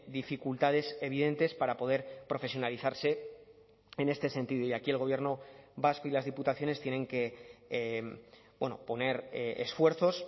dificultades evidentes para poder profesionalizarse en este sentido y aquí el gobierno vasco y las diputaciones tienen que poner esfuerzos